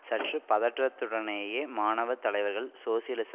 சற்று பதற்றத்துடனேயே மாணவர் தலைவர்கள் சோசியலிச